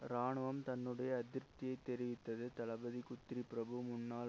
இராணுவம் தன்னுடைய அதிருப்தியை தெரிவித்தது தளபதி குத்ரி பிரபு முன்னாள்